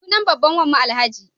Sunan babban wanmu Alhaji.